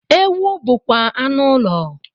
Ewu bụkwa anụ ụlọ